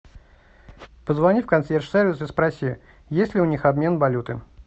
позвони в консьерж сервис и спроси есть ли у них обмен валюты